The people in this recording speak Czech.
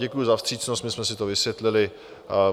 Děkuji za vstřícnost, my jsme si to vysvětlili.